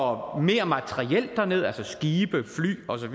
og mere materiel derned altså skibe fly osv